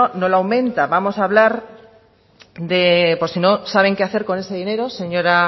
no lo aumenta vamos a hablar por si no saben qué hacer con ese dinero señora